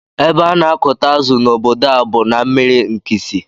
Ébé ana akụta azụ na ọbọdọ a bú na mmiri nkisi.